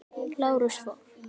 Lárus fór.